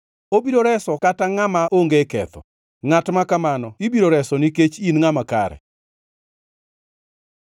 Obiro resi kata ngʼama onge ketho; ngʼat ma kamano ibiro reso nikech in ngʼama kare.”